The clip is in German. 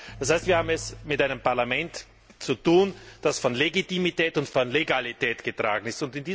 Das heißt, wir haben es mit einem Parlament zu tun, das von Legitimität und von Legalität getragen ist.